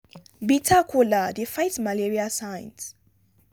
bitter kola dey fight malaria signs.